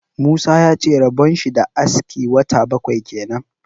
Musa ya ce rabon shi da aski wata bakwai kenan.